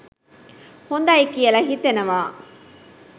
හොඳයි කියල හිතෙනවා.